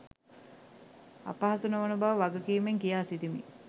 අපහසු නොවන බව වගකීමෙන් කියාසිටිමි